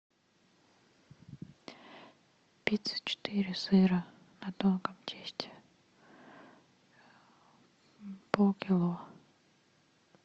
пицца четыре сыра на тонком тесте пол кило